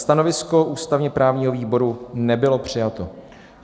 Stanovisko ústavně-právního výboru nebylo přijato.